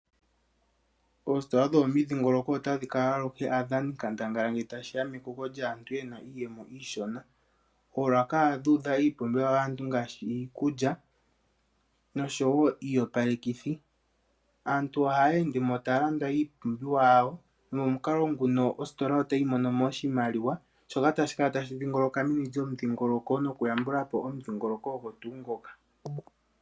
Oositola dho momudhingoloko ota dhi kala aluhe aadhani nkandangala ngele tashiya mekoko lyaantu yena iiyemo iishona . Oolaka ohadhi udha iipumbiwa yaantu ngaashi iikulya noshowo iiyopalekithi .Aantu ohaya endemo taya landa ipumbiwa yawo nomokukalo nguno ositola otayi mono oshimaliwa shoka tashi kala tashi dhingoloka meni lyo mu dhingoloko nokuyambulapo omudhingoloko ogwo tuu ngoka.